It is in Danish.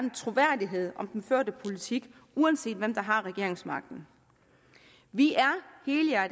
troværdighed om den førte politik uanset hvem der har regeringsmagten vi